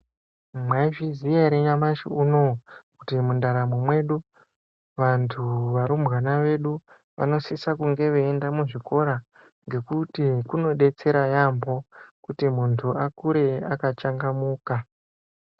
Mwaizviziya ere nyamasi unou kuti mundaramwo mwedu ,vantu varumbwana vedu vanosisa kunge veienda muzvikora ngekuti kunodetsera yaambo kuti muntu akure akachangamuka.